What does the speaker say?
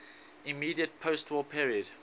immediate postwar period